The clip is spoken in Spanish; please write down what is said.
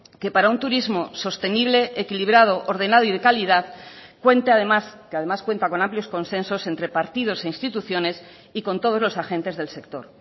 que para un turismo sostenible equilibrado ordenado y de calidad cuenta además que además cuenta con amplios consensos entre partidos e instituciones y con todos los agentes del sector